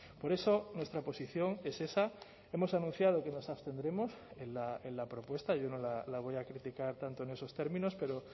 por eso nuestra posición es esa hemos anunciado que nos abstendremos en la propuesta yo no la voy a criticar tanto en esos términos pero